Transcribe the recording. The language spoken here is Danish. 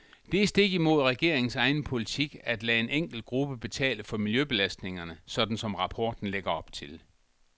Det er stik mod regeringens egen politik at lade en enkelt gruppe betale for miljøbelastningerne, sådan som rapporten lægger op til.